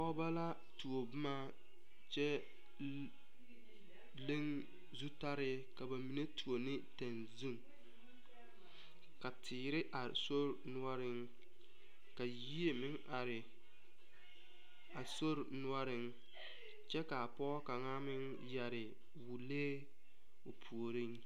Pɔgeba la tuo boma kyɛ leŋ zutale ka ba mine tuo ne tɛŋzun ka teere are sori noɔroŋ ka yie meŋ are a sori noɔriŋ kyɛ kaa pɔge kaŋa meŋ yɛre wolee o puoriŋ.